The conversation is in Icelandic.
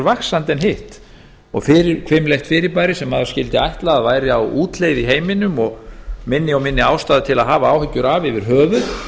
vaxandi en hitt og fremur hvimleitt fyrirbæri sem maður skyldi ætla að væri á útleið í heiminum og minni og minni ástæða til að hafa áhyggjur af yfir höfuð